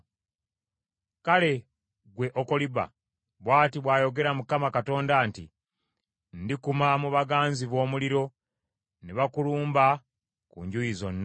“Kale ggwe Okoliba, bw’ati bw’ayogera Mukama Katonda nti, Ndikuma mu baganzi bo omuliro, ne bakulumba ku njuyi zonna: